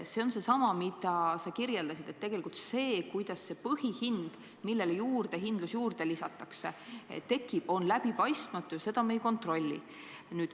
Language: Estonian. See on seesama, mida sa kirjeldasid, et see, kuidas see põhihind, millele juurdehindlus juurde lisatakse, tekib, on läbipaistmatu ja seda me ei kontrolli.